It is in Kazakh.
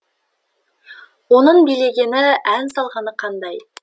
оның билегені ән салғаны қандай